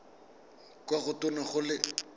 kwa go tona go le